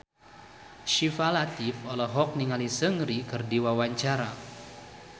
Syifa Latief olohok ningali Seungri keur diwawancara